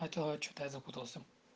что-то я запутался